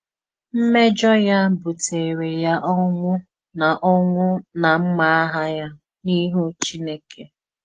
Mmèjọ ya bùtèrè ya ọnwụ́ na ọnwụ́ na mmà àhà ya n’ìhù Chínèkè.